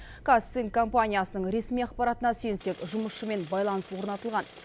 казцинк компаниясының ресми ақпаратына сүйенсек жұмысшымен байланыс орнатылған